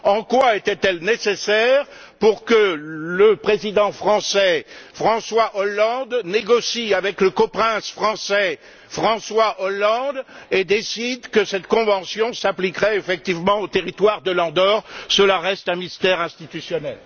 En quoi était elle nécessaire pour que le président français, François Hollande, négocie avec le coprince français, François Hollande, et décide que cette convention s'appliquerait, effectivement, au territoire de l'Andorre? Cela reste un mystère institutionnel.